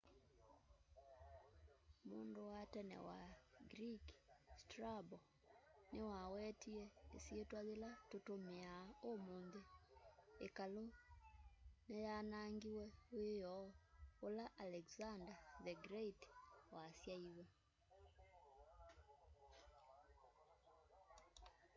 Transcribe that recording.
mundu wa tene wa greek strabo niwawetie isyitwa yila tutumiaa umunthi ikalu ni yanaangiwe wioo ula alexander the great wasaiwe